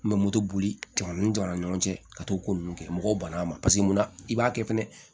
N bɛ moto boli jamana jɔ an ni ɲɔgɔn cɛ ka t'o ko ninnu kɛ mɔgɔw banna a ma mun na i b'a kɛ fɛnɛ